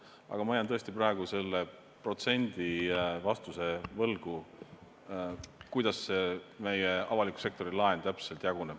Aga ma jään tõesti praegu selle vastuse protsendina võlgu, kuidas see avaliku sektori laen täpselt jaguneb.